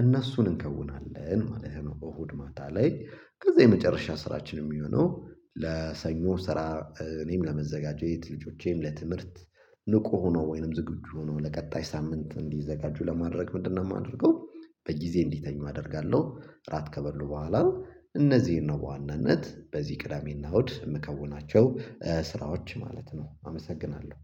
እነሱን እንከውናለን ማለት ነው። እሁድ ማታ ላይ ከዚያ የመጨረሻ ስራችን የሚሆነው ለሰኞ ስራ እኔም ለመዘጋጀት ልጆቼም ለትምህርት ንቁ ሆኖ ወይንም ዝግጁ ሆኖ ለቀጣይ ሳምንት እንዲዘጋጁ ለማድረግ ምንድነው የማደርገው? በየጊዜ እንዲተኙ አደርጋለሁ እራት ከበሉ በኋላ ነው እነዚህን ነው በዋናነት በዚህ ቅዳሜና እሁድ የምከውናቸው ስራዎች ማለት ነው። አመሰግናለሁ